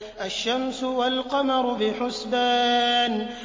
الشَّمْسُ وَالْقَمَرُ بِحُسْبَانٍ